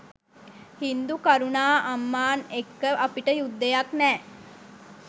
හින්දු කරුණාඅම්මාන් එක්ක අපිට යුද්ධයක් නෑ.